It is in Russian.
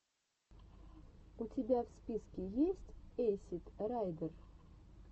у тебя в списке есть эйсид райдер